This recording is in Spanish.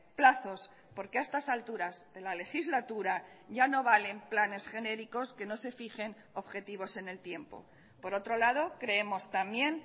plazos porque a estas alturas de la legislatura ya no valen planes genéricos que no se fijen objetivos en el tiempo por otro lado creemos también